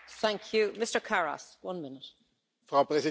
Frau Präsidentin, meine sehr geehrten Damen und Herren!